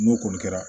N'o kɔni kɛra